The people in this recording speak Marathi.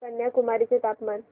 कन्याकुमारी चे तापमान